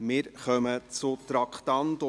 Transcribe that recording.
Wir kommen zu den Traktanden